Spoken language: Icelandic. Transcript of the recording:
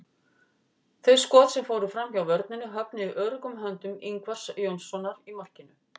Þau skot sem fóru framhjá vörninni höfnuðu í öruggum höndum Ingvars Jónssonar í markinu.